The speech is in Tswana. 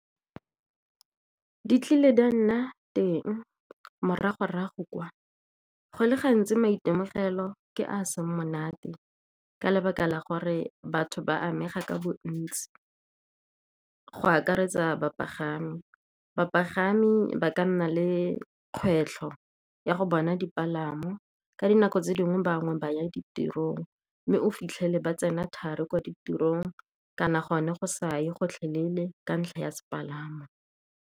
Di tlile di a nna teng morago-rago kwa, go le gantsi maitemogelo ke a seng monate ka lebaka la gore batho ba amega ka bontsi. Go akaretsa bapagami, bapagami ba ka nna le kgwetlho ya go bona dipalamo. Ka dinako tse dingwe ba bangwe ba ya ditirong mme o fitlhele ba tsena thari kwa ditirong, kana gone go sa ye gotlhelele ka ntlha ya sepalamo.